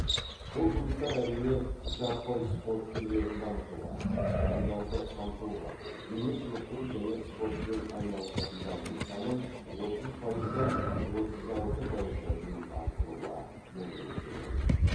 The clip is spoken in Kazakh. бұл жұмыстар әрине жаппай спорт түрлерін дамытуға тұрғындарды қамтуға дене шынықтыру және спортпен айналысатындардың санын отыз пайыздан отыз алты пайызға дейін арттыруға мүмкіндік береді